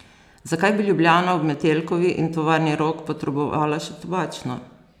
Zakaj bi Ljubljana ob Metelkovi in Tovarni Rog potrebovala še Tobačno?